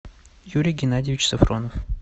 юрий геннадьевич сафронов